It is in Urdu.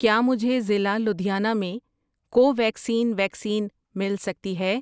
کیا مجھے ضلع لدھیانہ میں کوویکسین ویکسین مل سکتی ہے؟